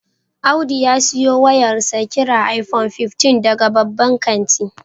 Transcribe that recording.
Audu ya siyo wayarsa kirar iPhone 15 daga babban kanti.